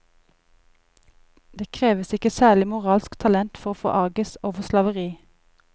Det kreves ikke særlig moralsk talent for å forarges over slaveri.